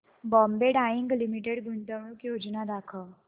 Bombay Dyeing Limited गुंतवणूक योजना दाखव